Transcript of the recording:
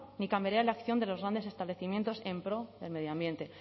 ni cambiaría la acción de los grandes establecimientos en pro del medio ambiente